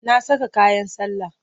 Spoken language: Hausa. Na saka kayan sallah.